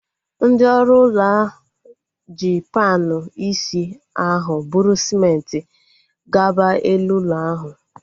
Ndị ọrụ ụlọ ji panu isi ahu bụrụ sịmenti gaba elu ụlọ ahu